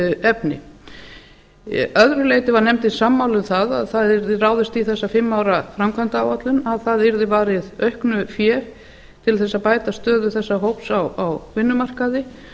efni að öðru leyti var nefndin sammála um að það yrði ráðist í þessa fimm ára framkvæmda áætlun að það yrði varið auknu fé til þess að bæta stöðu þessa hóps á vinnumarkaði